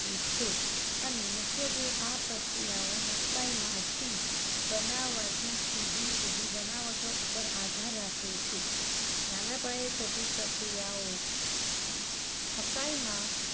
છે. અને મુખ્યત્વે આ પ્રક્રિયાઓ મકાઇમાંથી બનાવવાતી જુદી-જુદી બનાવટો ઉપર આધાર રાખે છે. નાના પાયે થતી પ્રક્રિયાઓ મકાઇમાં